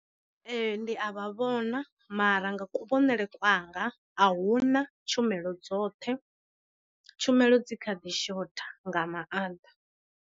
Ee ndi a vha vhona mara nga ku vhonele kwanga a huna tshumelo dzoṱhe, tshumelo dzi kha ḓi shotha nga maanḓa.